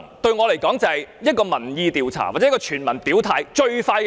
對我來說，這是一個民意調查或全民表態的最快方法。